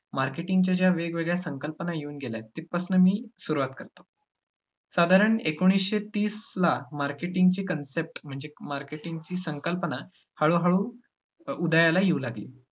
marketing च्या ज्या वेगवेगळ्या संकल्पना येऊन गेल्यात तिथपासनं मी सुरुवात करतो. साधारण एकोणिसशे तीसला marketing ची concept म्हणजे marketing ची संकल्पना हळू-हळू उदयाला येऊ लागली.